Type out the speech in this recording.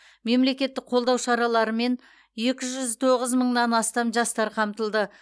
мемлекеттік қолдау шараларымен екі жүз тоғыз мыңнан астам жастар қамтылды